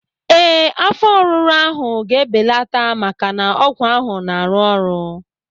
Ee, afọ ọruru ahụ ga-ebelata maka na ọgwụ ahụ na-arụ ọrụ